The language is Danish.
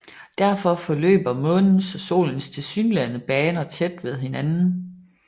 Derfor forløber Månens og Solens tilsyneladende baner tæt ved hinanden